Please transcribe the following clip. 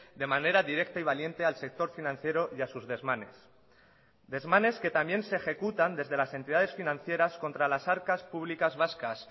de manera directa y valiente al sector financiero y a sus desmanes desmanes que también se ejecutan desde las entidades financieras contra las arcas públicas vascas